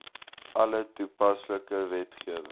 alle toepaslike wetgewing